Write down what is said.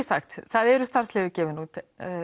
sagt það eru starfsleyfi gefin út